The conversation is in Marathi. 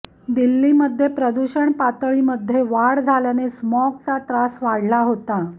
दिल्लीमध्ये प्रदूषण पातळीमध्ये वाढ झाल्याने स्मॉगचा त्रास वाढला होता